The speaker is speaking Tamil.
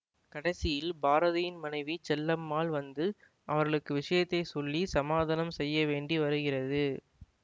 கடைசியில் பாரதியின் மனைவி செல்லாம்மாள் வந்து அவர்களுக்கு விஷயத்தை சொல்லி சமாதானம் செய்ய வேண்டி வருகிறது